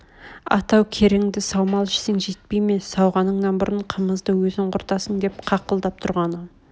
атау кереңді саумал ішсең жетпей ме сауғаныңнан бұрын қымызды өзің құртасың деп қақылдап тұрғаны